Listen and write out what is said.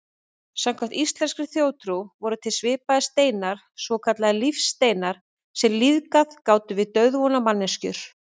Samkvæmt íslenskri þjóðtrú voru til svipaðir steinar, svokallaðir lífsteinar, sem lífgað gátu við dauðvona manneskjur.